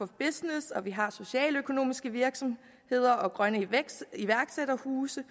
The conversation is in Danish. business vi har socialøkonomiske virksomheder og grønne iværksætterhuse